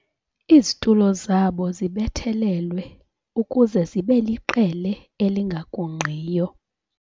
Izitulo zabo zibethelelwe ukuze zibe liqele elingagungqiyo.